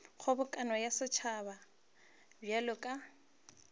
kgobokano ya setšhaba bjalo ka